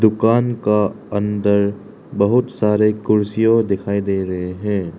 दुकान का अंदर बहुत सारे कुर्सियों दिखाई दे रहे हैं।